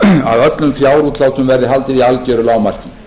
að öllum fjárútlátum verði haldið í algeru lágmarki